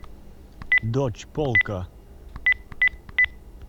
дочь полка